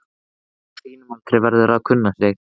Kona á þínum aldri verður að kunna sig.